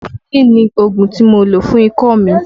Kọfulin ni ògùn tí mo lò fún ikọ́ mi.